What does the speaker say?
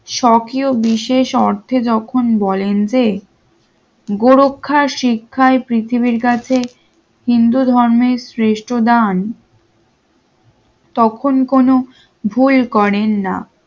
সক্রিয় বিশেষ অর্থে যখন বলেন যে গোরক্ষার শিক্ষায় পৃথিবীর কাছে হিন্দু ধর্মের শ্রেষ্ঠ দান তখন কোন ভুল করেন না